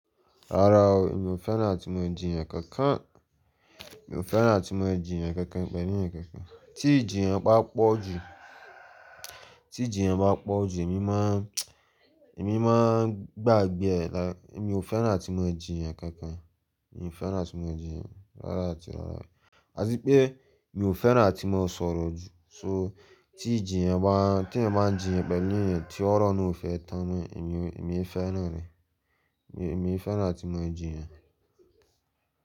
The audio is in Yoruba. Rárá o, mi ò fẹ́ràn atí mo jiyàn kankan. Mi ò fẹ́ràn àti mo ń jiyàn kankan, pẹ̀lú èèyàn kankan. Tí ìjiyàn bá pọ̀ jù, tí ìjiyàn bá pọ̀ jù, èmi máa n èmi máa ń gbàgbé ẹ̀ lá. Èmi ò fẹ́ràn tí mo ń jiyàn kankan. Mi ò fẹ́ràn àti mo ń jiyàn rárá àti rárá. Àtipé mi ò fẹ́ràn àti màá sọ̀rọ̀ jù. So tí ìjiyàn bá, tí èèyàn báa ń jiyàn pẹ̀lú èèyàn tí ọ̀rọ̀ náà ò fẹ́ tán n nú ẹ̀, èmi, èmi è fẹ́ràn rẹ̀. Èmi, èmi fẹ́ràn tí mo ń jiyàn.